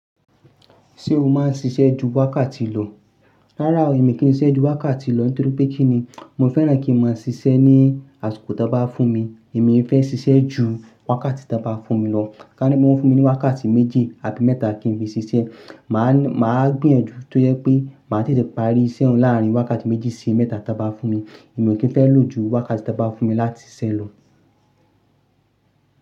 Ṣé o máa ń ṣiṣẹ́ ju wákàtí lọ? Rárá o, èmi kì í ṣe ju wákàtí lọ nítorí pé kí ni, mo fẹ́ràn kí mo máa ṣiṣẹ́ ní àsìkò to bá fún mi. Èmi fẹ́ ṣiṣẹ́ ju wákàtí tí wọ́n bá fún mi lọ. Ka ni wọ́n fún mi ní wákàtí méjì àbi mẹ́ta kí n fi ṣiṣẹ́. Mà á, mà á gbìyànjú tó yẹ pé mà á tètè parí iṣẹ́ ọ̀hun larin wákàtí méjì sí mẹ́ta to bá fún mi. Èmi ò kí ń fẹ́ lò ju wákàtí to bá fún mi láti ṣiṣẹ́ lọ.